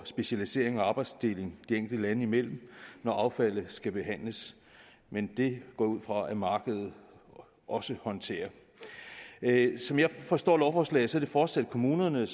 specialisering og arbejdsdeling de enkelte lande imellem når affaldet skal behandles men det går jeg ud fra at markedet også håndterer som jeg forstår lovforslaget er det fortsat kommunerne